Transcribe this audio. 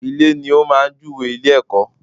Ilè ni ó máa jú we ilé -èkó